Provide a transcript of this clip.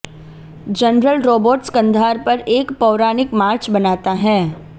general Roberts Kandahar पर एक पौराणिक मार्च बनाता है